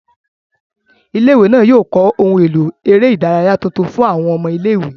Ilé-ìwé náà yóò kọ́ ohun èlò eré ìdárayá tuntun fún àwọn ọmọ ilé-ìwé